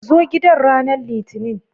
Zo gidan ranar litinin.